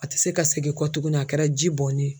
A tɛ se ka segin kɔ tuguni a kɛra ji bɔnni ye.